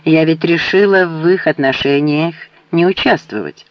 я ведь решила в их отношениях не участвовать